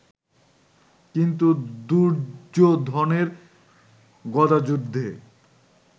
কিন্তু দুর্যোধনের গদাযুদ্ধে